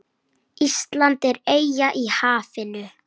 Ísland er eyja í hafinu.